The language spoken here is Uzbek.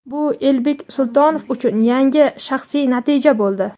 bu Elbek Sultonov uchun yangi shaxsiy natija bo‘ldi.